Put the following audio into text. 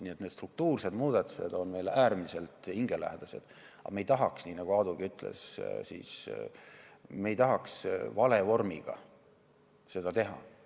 Nii et need struktuursed muudatused on meile äärmiselt hingelähedased, aga me ei tahaks, nii nagu Aadugi ütles, valevormiga seda teha.